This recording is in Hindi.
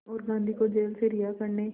और गांधी को जेल से रिहा करने